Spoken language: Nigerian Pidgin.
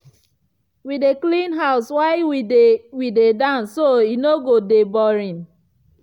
we dey clean house while we dey we dey dance so e no go de boring.